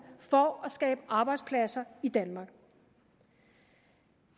for at skabe arbejdspladser i danmark